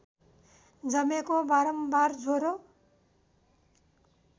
जमेको बारम्बार ज्वरो